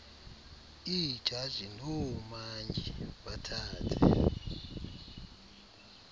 iijaji noomantyi bathathe